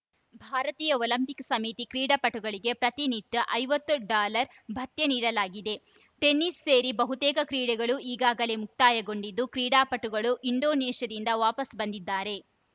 ಭಾರತೀಯ ಒಲಂಪಿಕ್‌ ಸಮಿತಿ ಕ್ರೀಡಾಪಟುಗಳಿಗೆ ಪ್ರತಿನಿತ್ಯ ಐವತ್ತು ಡಾಲರ್‌ ಭತ್ಯೆ ನೀಡಲಾಗಿದೆ ಟೆನಿಸ್‌ ಸೇರಿ ಬಹುತೇಕ ಕ್ರೀಡೆಗಳು ಈಗಾಗಲೇ ಮುಕ್ತಾಯಗೊಂಡಿದ್ದು ಕ್ರೀಡಾಪಟುಗಳು ಇಂಡೋನೇಷ್ಯಾದಿಂದ ವಾಪಸ್‌ ಬಂದಿದ್ದಾರೆ